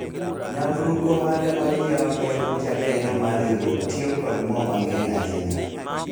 nyamburko mane onyiewu ne jakeno mar riwruok tiyo kod moo mang'eny ahinya